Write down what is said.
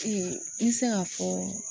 me se k'a fɔ